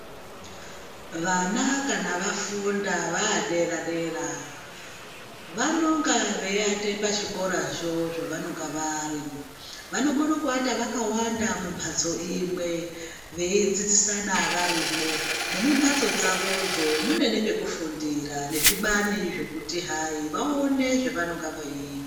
Vana kana vafunda vaadere-dera vanonga veiate pazvikorazvo zvavanonga vari. Vanokona kuvata vakawanda mumbatso imwe veidzidzisana varimwo. Nemumbatso dzavodzo mune nepekufundira nezvibani zvekuti hayi, vaone zvavanenga vei...